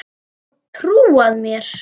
Og trúað mér!